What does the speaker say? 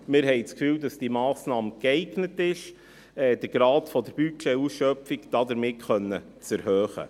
Wir haben den Eindruck, diese Massnahme sei geeignet, den Grad der Budgetausschöpfung damit zu erhöhen.